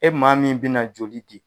E maa min bɛna joli di.